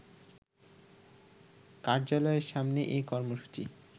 কার্যালয়ের সামনে এ কর্মসূচি